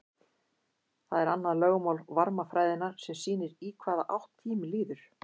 það er annað lögmál varmafræðinnar sem sýnir í hvaða átt tíminn líður